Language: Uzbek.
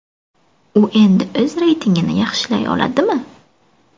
U endi o‘z reytingini yaxshilay oladimi?